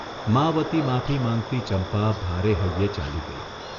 મા વતી માફી માંગતી ચંપા ભારે હૈયે ચાલી ગઇ.